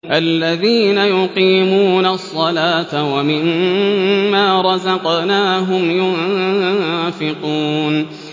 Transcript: الَّذِينَ يُقِيمُونَ الصَّلَاةَ وَمِمَّا رَزَقْنَاهُمْ يُنفِقُونَ